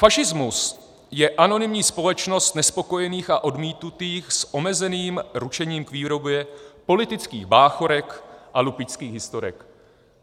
"Fašismus je anonymní společnost nespokojených a odmítnutých s omezeným ručením k výrobě politických báchorek a lupičských historek."